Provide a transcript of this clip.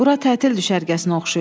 Bura tətil düşərgəsinə oxşayır.